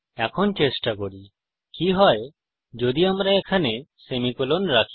এখন চেষ্টা করি কি হয় যদি আমরা এখানে সেমিকোলন রাখি